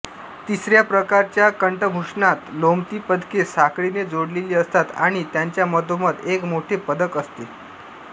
तिसऱ्या प्रकारच्या कंठभूषणांत लोंबती पदके साखळीने जोडलेली असतात आणि त्यांच्या मधोमध एक मोठे पदक असते